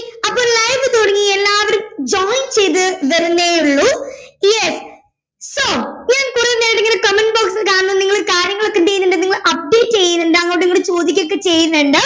അപ്പോ live തുടങ്ങി എല്ലാവരും join ചെയ്തു വരുന്നേയുള്ളൂ yes so ഞാൻ കുറെ നേരിങ്ങനെ comment box ൽ കാണുന്നു നിങ്ങൾ കാര്യങ്ങളൊക്കെ എന്ത് ചെയ്യുന്നുണ്ട് നിങ്ങൾ update ചെയ്യുന്നുണ്ട് അങ്ങോട്ടു ഇങ്ങോട്ട് ചോദികൊക്കെ ചെയ്യുന്നുണ്ട്